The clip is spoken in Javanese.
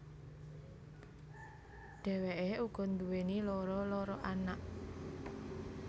Dhèwèké uga nduwèni loro loro anak